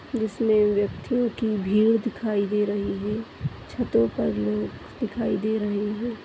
जिसमे व्यक्तियों की भीड़ दिखाई दे रही है छतों पर लोग दिखाई दे रहे हैं।